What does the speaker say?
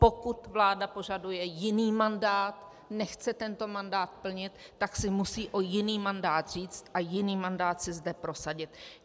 Pokud vláda požaduje jiný mandát, nechce tento mandát plnit, tak si musí o jiný mandát říct a jiný mandát si zde prosadit.